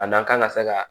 A n'an kan ka se ka